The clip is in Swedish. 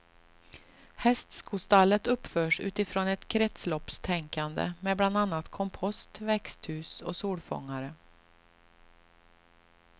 Hästskostallet uppförs utifrån ett kretsloppstänkande med bland annat kompost, växthus och solfångare.